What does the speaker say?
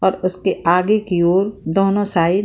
और उसके आगे की ओर दोनो साइड --